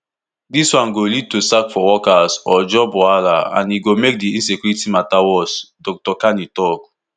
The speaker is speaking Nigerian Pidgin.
dis one go lead to sack for workers or job wahala and e go make di insecurity mata worse dr kani tok